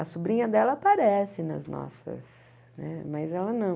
A sobrinha dela aparece nas nossas né, mas ela não.